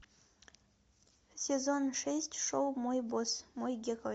сезон шесть шоу мой босс мой герой